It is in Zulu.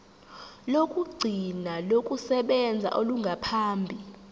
lokugcina lokusebenza olungaphambi